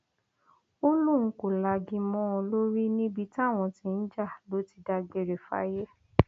ó lóun kò lagi mọ ọn lórí níbi táwọn ti ń jà ló ti dágbére fáyé